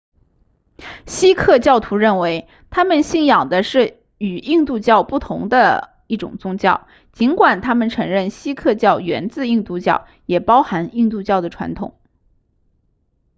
锡克教徒认为他们信仰的是与印度教不同的一种宗教尽管他们承认锡克教源自印度教也包含印度教的传统